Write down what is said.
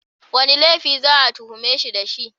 Wane laifi za a tuhume shi da shi?